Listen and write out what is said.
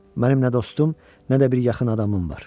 Mənim nə dostum, nə də bir yaxın adamım var.